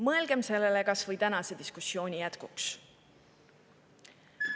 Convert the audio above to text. Mõelgem sellele kas või tänase diskussiooni jätkuks.